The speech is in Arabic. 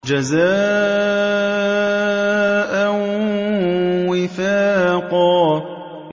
جَزَاءً وِفَاقًا